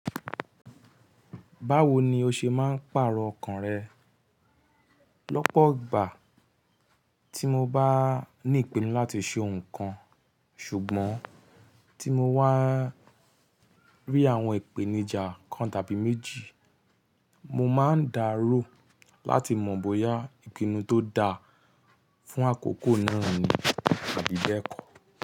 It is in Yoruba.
Báwo ni o ṣe máa ń pààrọ̀ ọkàn rẹ? Lọ́pọ̀ ìgbà tí mo bá ní ìpinnu láti ṣe nǹkan, ṣùgbọ́n tí mo wà rí àwọn ìpèníjà kan tàbí méjì, mo máa ń darò láti mọ̀ bóyá ìpinnu tó da fún àkókò náà ni àbí bẹ́ẹ̀kọ́.